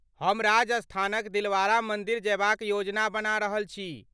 हम राजस्थानक दिलवाड़ा मन्दिर जयबाक योजना बना रहल छी।